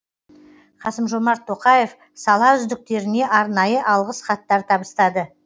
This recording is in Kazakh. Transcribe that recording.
қасым жомарт тоқаев сала үздіктеріне арнайы алғыс хаттар табыстады